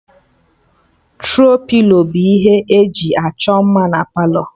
Tro-pilo bụ ihe e ji achọ mma na Palọ